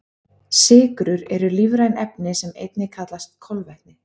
Sykrur eru lífræn efni sem einnig kallast kolvetni.